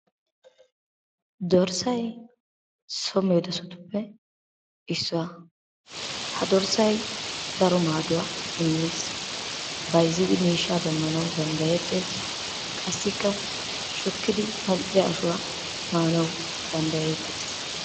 Dirssay so medossatuppe issuwa. Ha dorssay daro maaduwa immees. Bayizzidi miishshaa demmanawu danddayettees, qassikka shukkidi mal'iya ashuwa maanawu danddayettees.